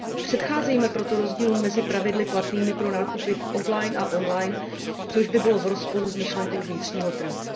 Předcházejme proto rozdílům mezi pravidly platnými pro nákupy off line a online, což by bylo v rozporu s myšlenkou vnitřního trhu.